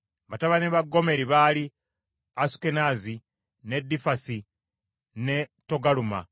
Batabani ba Gomeri baali: Asukenaazi, ne Difasi ne Togaluma.